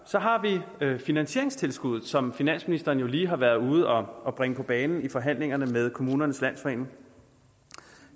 så har vi finansieringstilskuddet som finansministeren lige har været ude at bringe på banen i forhandlingerne med kommunernes landsforening